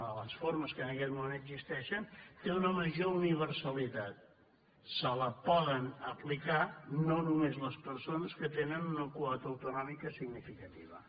de les formes que en aquest moment existeixen té una major universalitat se la poden apli·car no només les persones que tenen una quota autonò·mica significativa